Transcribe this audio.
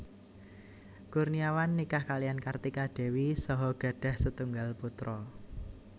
Kurniawan nikah kaliyan Kartika Dewi saha gadhah setunggal putra